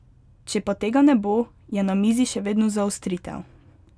Če pa tega ne bo, je na mizi še vedno zaostritev.